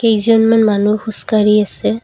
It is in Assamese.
কেইজনমান মানুহ খোজ কাঢ়ি আছে।